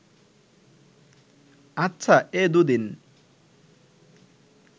আচ্ছা, এ দুদিন